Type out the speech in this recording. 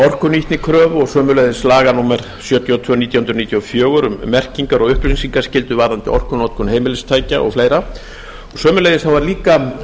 orkunýtnikröfur sömuleiðis laga númer sjötíu og tvö nítján hundruð níutíu og fjögur um merkingar og upplýsingaskyldu varðandi orkunotkun heimilistækja og fleiri sömuleiðis var líka